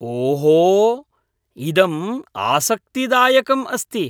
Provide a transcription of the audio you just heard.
ओहो, इदम् आसक्तिदायकम् अस्ति।